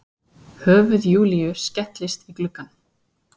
Höfuð Júlíu skellist í gluggann.